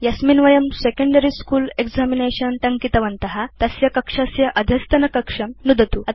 यस्मिन् वयम् secondary school examination टङ्कितवन्त तस्य कक्षस्य अधस्तनकक्षं नुदतु